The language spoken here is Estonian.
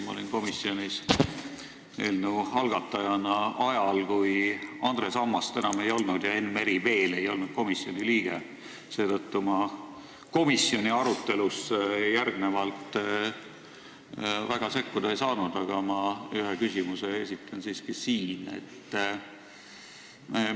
Ma olin komisjonis eelnõu algatajana ajal, kui Andres Ammast enam ei olnud ja Enn Meri veel ei olnud komisjoni liige, seetõttu ma komisjoni arutelusse väga sekkuda ei saanud, aga esitan siin siiski ühe küsimuse.